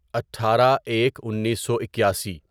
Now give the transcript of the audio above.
اٹھارہ ایک انیسو اکیاسی